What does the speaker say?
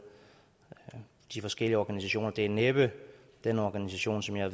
de forskellige organisationer det er næppe den organisation som jeg